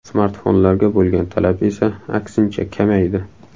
Smartfonlarga bo‘lgan talab esa, aksincha, kamaydi.